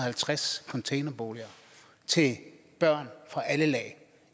halvtreds containerboliger til børn fra alle lag